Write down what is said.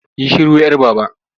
Yi shiru 'yar Baba!